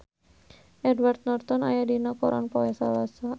Edward Norton aya dina koran poe Salasa